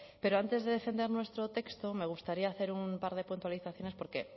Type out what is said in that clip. pero antes de defender nuestro texto me gustaría hacer un par de puntualizaciones porque